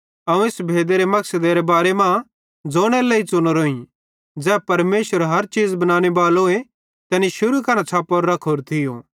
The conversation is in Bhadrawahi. अवं इस भेदेरे मकसदेरे बारे ज़ोनेरे लेई च़ुनोरोईं ज़ै परमेशर हर चीज़ बनानेबालोए तैनी शुरू करां छ़प्पोरो रखोरो थियो